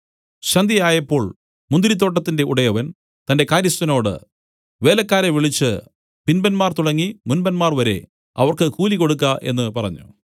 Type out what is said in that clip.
സന്ധ്യയായപ്പോൾ മുന്തിരിത്തോട്ടത്തിന്റെ ഉടയവൻ തന്റെ കാര്യസ്ഥനോട് വേലക്കാരെ വിളിച്ച് പിമ്പന്മാർ തുടങ്ങി മുമ്പന്മാർ വരെ അവർക്ക് കൂലി കൊടുക്ക എന്നു പറഞ്ഞു